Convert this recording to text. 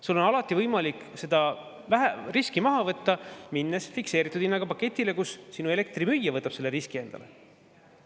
Sul on alati võimalik seda riski maha võtta, minnes üle fikseeritud hinnaga paketile, kus sinu elektrimüüja võtab selle riski endale.